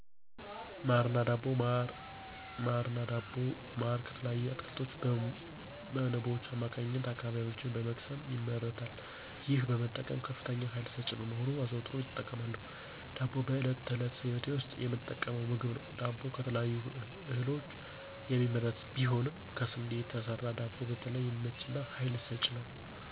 ማር እና ዳቦ ማር ከተለያዩ አትክልቶች በንቦች አማካኝነት አበባዎችን በመቅሰም ይመረታል ይህን በመጠቀም ከፍተኛ ሃይል ሰጭ በመሆኑ አዘውትሬ እጠቀማለሁ። ደቦ በዕለት ተዕለት ህይወቴ ውስጥ የምጠቀመው ምግብ ነው ዳቦ ከተለያዩ እህሎች የሚመረት ቢሆንም ከስንዴ የተሰራ ደቦ በተለይ የሚመቸኝ እና ሃይል ሰጭ ነው።